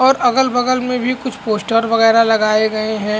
और अगल-बगल में भी कुछ पोस्टर वगेरा लगाए गए है।